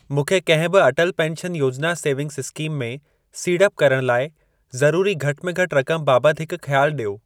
मूंखे कंहिं बि Atal pension Yojana savings scheme में सीड़प करण लाइ ज़रूरी घटि में घटि रक़म बाबति हिक ख़्यालु ॾियो।